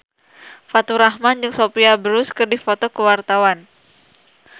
Faturrahman jeung Sophia Bush keur dipoto ku wartawan